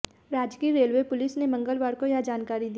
राजकीय railway police ने मंगलवार को यह जानकारी दी